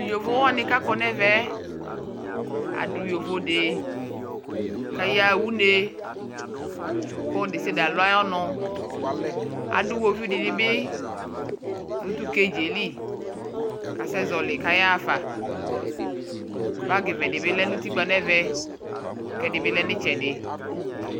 Tuu yovowani kakɔ nɛɛmɛɛ adu yovode kayaɣa unee kɔludesiade aluayɔnuu adu iwoviu dinibi nu tu kaɖʒ yɛli kasɛ ƶɔli kayaafa bagi vɛdi bilɛ nutikpa nɛvɛ kɛdibi lɛ nitsɛdi